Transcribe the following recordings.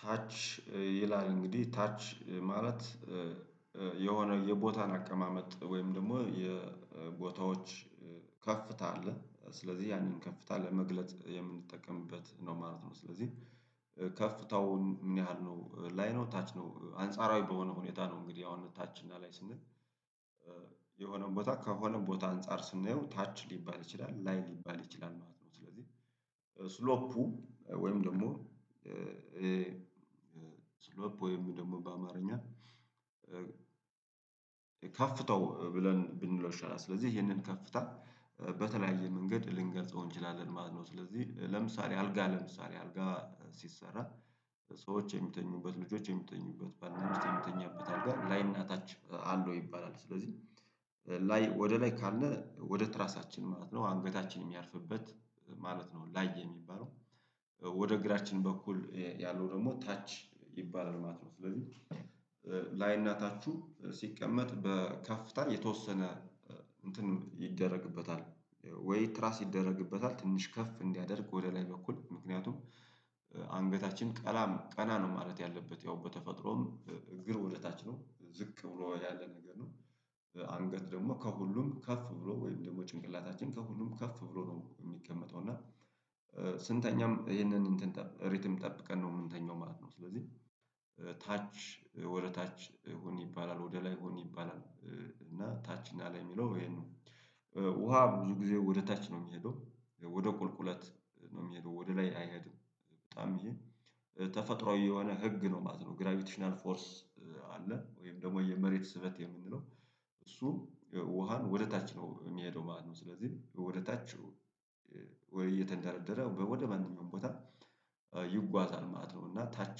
ታች ይላል እንግዲህ ታች ማለት የሆነ የቦታን አቀማመጥ ወይም ደግሞ የቦታዎች ከፍታ አለ ስለዚህ ያንን ከፍታ ለመግለጽ የምንጠቀምበት ነው ማለት ነው ስለዚህ ከፍታውን ምን ያህል ነው ላይ ነው ታች ነው አንጻራዊ በሆነ ሁኔታ ነው እንግዲህ አሁን ታች እና ላይ ስንል የሆነን ቦታ ከሆነ ቦታ አንፃር ስንናየው ታች ሊባል ይችላል ላይ ሊባል ይችላል ማለት ነው ስለዚህ ስሎፑ ወይም ደግሞ ስሎፕ ወይም ደግሞ በአማርኛ ከፍታው ብለን ብንለው ይሻላል ስለዚህ ይሄንን ከፍታ በተለያየ መንገድ ልንገልጸው እንችላለን ማለት ነው ስለዚህ ለምሳሌ አልጋ ለምሳሌ አልጋ ሲሰራ ሰዎች የሚተኙበት ልጆች የሚተኙበት ባልና ሚስት የሚተኙበት አልጋ ላይና ታች አለው ይባላል ስለዚህ ላይ ወደ ላይ ካለ ወደ ትራሳችን ማለት ነው አንገታችን የሚያርፍበት ማለት ነው ላይ የሚባለው ወደ እግራችን በኩል ያለው ደግሞ ታች ይባላል ማለት ነው ስለዚህ ላይ እና ታቹ ሲቀመጥ በከፍታ የተወሰነ እንትን ይደረግበታል ወይ ትራስ ይደረግበታል ትንሽ ከፍ እንዲያደርግ ወደ ላይ በኩል ምክንያቱም አንገታችን ቀና ነው ማለት ያለበት ያው በተፈጥሮም እግር ወደ ታች ነው ዝቅ ብሎ ያለ ነገር ነው። አንገት ደግሞ ከሁሉም ከፍ ብሎ ወይም ደግሞ ጭንቅላታችን ከሁሉም ከፍ ብሎ ነው የሚቀመጠው እና ስንተኛም ይሄንን ሪትም ጠብቀን ነው የምንተኛው ማለት ነው ስለዚህ ታች ወደ ታች ሁን ይባላል ወደ ላይ ሁን ይባላል እና ታች እና ላይ የሚለው ይሄንን ውሃ ብዙ ጊዜ ወደ ታች ነው የሚሄደው ወደ ቁልቁለት ነው የሚሄደው ወደ ላይ አይሄድም በጣም ይሄ ተፈጥሮአዊ የሆነ ህግ ነው ማለት ነው ግራቪቲሽናል ፎርስ አለ ወይም ደግሞ የመሬት ስበት የምንለው እሱ ውሃን ወደ ታች ነው የሚሄደው ማለት ነው ስለዚህ ወደ ታች ወይ እየተንዳረደረ ወደ ማንኛውም ቦታ ይጓዛል ማለት ነው እና ታች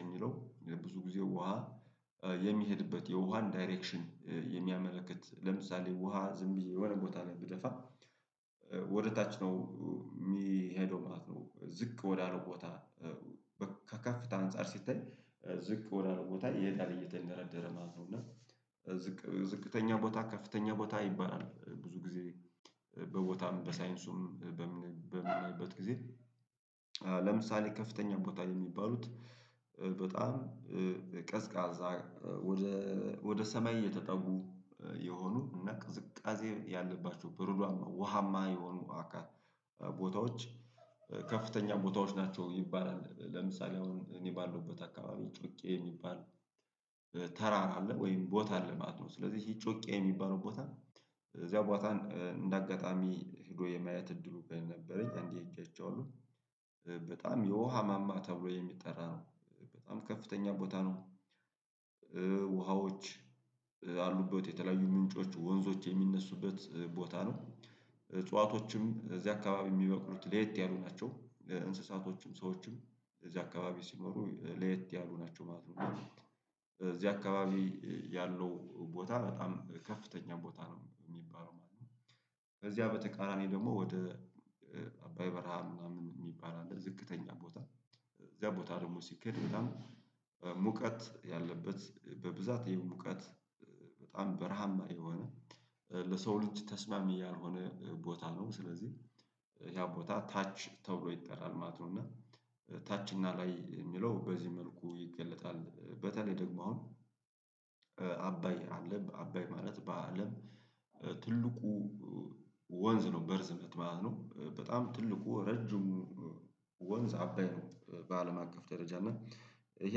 የሚለው ብዙ ጊዜ ውሃ የሚሄድበት የውሃን ዳይሬክሽን የሚያመለክት ለምሳሌ ውሃ ዝም ብዬ የሆነ ቦታ ላይ ብደፋ ወደ ታች ነው የሚሄደው ማለት ነው ዝቅ ወዳለው ቦታ ከከፍታ አንፃር ሲታይ ዝቅ ወዳለው ቦታ ይሄዳል እየተንደረደረ ማለት ነው እና ዝቅተኛ ቦታ ከፍተኛ ቦታ ይባላል። ብዙ ጊዜ በቦታም በሳይንሱም በምናይበት ጊዜ ለምሳሌ ከፍተኛ ቦታ የሚባሉት በጣም ቀዝቃዛ ወደ ሰማይ የተጠጉ የሆኑ እና ቅዝቃዜ ያለባቸው ብሩዳማ ውሃማ የሆኑ አካል ቦታዎች ከፍተኛ ቦታዎች ናቸው ይባላል። ለምሳሌ አሁን እኔ ባለውበት አካባቢ ጮቄ የሚባል ተራራ አለ ወይም ቦታ አለ ማለት ነው ስለዚህ ይህ ጮቄ የሚባለው ቦታ ነው እዚያው ቦታን እንደ አጋጣሚ ሄዶ የማየት እድሉ በነበረኝ አንዴ ሄጄ አይቼዋለሁ። በጣም የውሃ ማማ ተብሎ የሚጠራ ነው በጣም ከፍተኛ ቦታ ነው። ውሃዎች አሉበት የተለያዩ ምንጮች ወንዞች የሚነሱበት ቦታ ነው። እጽዋቶችም እዚህ አካባቢ የሚበቅሉት ለየት ያሉ ናቸው እንስሳቶችም ሰዎችም እዚህ አካባቢ ሲኖሩ ለየት ያሉ ናቸው ማለት ነው እዚህ አካባቢ ያለው ቦታ በጣም ከፍተኛ ቦታ ነው የሚባለው ማለት ነው ከዚያ በተቃራኒ ደግሞ ወደ አባይ በረሃ ምናምን የሚባል አለ ዝቅተኛ ቦታ እዚያ ቦታ ደግሞ ሲኬድ በጣም ሙቀት ያለበት በብዛት ይሄው ሙቀት በጣም በረሃማ የሆነ ለሰው ልጅ ተስማሚ ያልሆነ ቦታ ነው ስለዚህ ያ ቦታ ታች ተብሎ ይጠራል ማለት ነው እና ታች እና ላይ የሚለው በዚህ መልኩ ይገለጣል በተለይ ደግሞ አሁን አባይ አለ አባይ ማለት በአለም ትልቁ ወንዝ ነው በርዝመት ማለት ነው በጣም ትልቁ ረጅሙ ወንዝ አባይ ነው በአለም አቀፍ ደረጃ እና ይሄ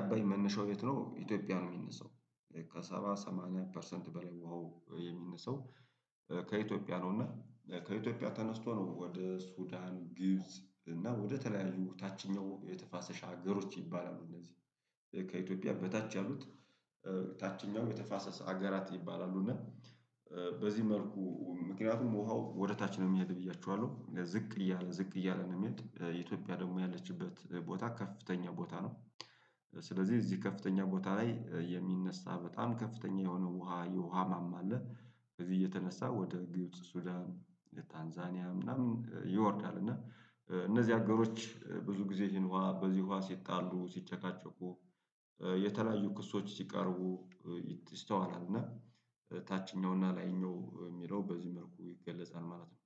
አባይ መነሻው የት ነው ኢትዮጵያ ነው የሚነሳው ከሰባ ሰማኒያ ፐርሰንት በላይ ውሃው የሚነሳው ከኢትዮጵያ ነውና ከኢትዮጵያ ተነስቶ ነው ወደ ሱዳን ግብጽ እና ወደተለያዩ ታችኛው የተፋሰስ ሀገሮች ይባላሉ እነዚህ ከኢትዮጵያ በታች ያሉት ታችኛው የተፋሰስ ሀገራት ይባላሉ እና በዚህ መልኩ ምክንያቱም ውሃው ወደ ታች ነው የሚሄድ ብያችኋለሁ ዝቅ እያለ ዝቅ ነው የሚሄድ ኢትዮጵያ ደግሞ ያለችበት ቦታ ከፍተኛ ቦታ ነው ስለዚህ እዚህ ከፍተኛ ቦታ ላይ የሚነሳ በጣም ከፍተኛ የሆነው ውሃ የውሃ ማማ አለ። እዚህ እየተነሳ ወደ ግብጽ ሱዳን ታንዛኒያ ምናምን ይወርዳል እና እነዚህ አገሮች ብዙ ጊዜ ይህን ውሃ በዚህ ውሃ ሲጣሉ ሲጨቃጨቁ የተለያዩ ክሶች ሲቀርቡ ይስተዋላል እና ታችኛው እና ላይኛው የሚለው በዚህ መልኩ ይገለጻል ማለት ነው።